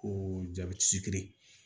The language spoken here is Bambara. Ko